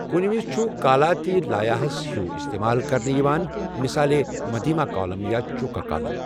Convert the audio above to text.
كٕنٛنہٕ وِزِ چھ كالا تہِ لایا ہس ہِیوُو استمال كرنہٕ یوان ،مِثالے مدھیما كالم یا چوكا كالم ۔